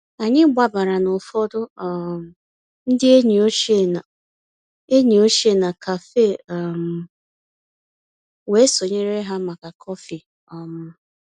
Ànyị́ gbabàrà ná ụ̀fọ̀dụ̀ um ndí ényí òchie ná ényí òchie ná cafe um wéé sonyéré há màkà kọ́fị̀. um